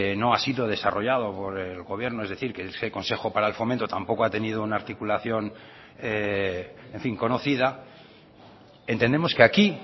no ha sido desarrollado por el gobierno es decir que ese consejo para el fomento tampoco ha tenido una articulación en fin conocida entendemos que aquí